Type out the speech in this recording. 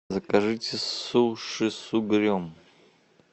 закажите суши с угрем